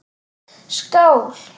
Skál!